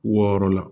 Wɔɔrɔ la